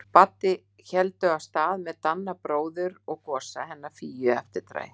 Baddi héldu af stað með Danna bróður og Gosa hennar Fíu í eftirdragi.